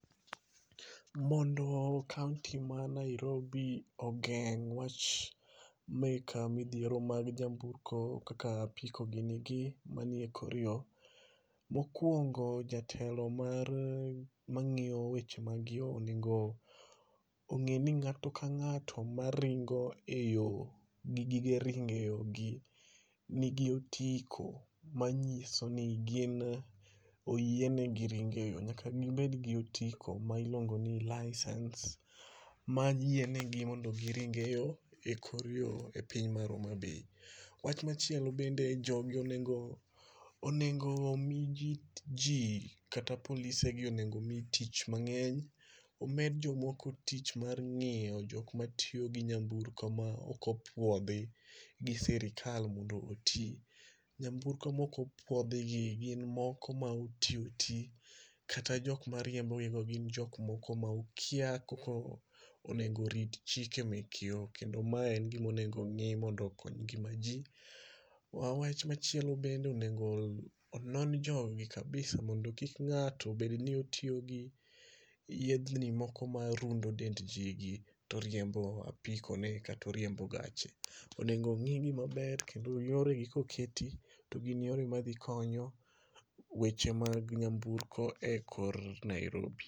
Mondo kaunti ma Nairobi ogeng' wach mek midhiero mag nyamburko kaka apiko gini gi manie ekor yoo, mokwongo jatelo mar mang'iyo weche mag yoo onego ong'eni ng'ato ka ng'ato maringo eyo gi gige ringe eyo gi nigi otiko manyiso ni gin oyienegi ringo eyo. Nyaka gibed gi otiko ma iluongo ni license, ma yienegi mondo giring eyo, ekor yoo e piny mar Homabay. Wach machielo bende jogi onengo onengo omi ji jii kata polise gi onengo omi tich mang'eny. Omed jomoko tich mar ng'iyo jok matiyo gi nyamburko ma okopuodhi, gi sirikal mondo oti. Nyamburko mokopuodhi gi gin moko ma oti oti, kata jok mariembo gi go gin jok moko ma okia koko onego orit chike mek yoo, kendo mae en gimonego ong'i mondo okony ngima jii. Wa wach machielo bende onengo, onon jogi kabisa mondo kik ng'ato obed ni otiyo gi yedhni moko marundo dend jii gi toriembo apiko ne katoriembo gache. Onengo ong'i gi maber kendo yoregi koketi, to gin yore madhikonyo, weche mag nyamburko ekor Nairobi